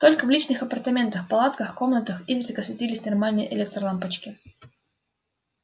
только в личных апартаментах палатках комнатах изредка светились нормальные электролампочки